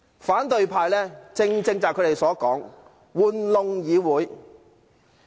反對派正正是他們自己說的"玩弄議會"。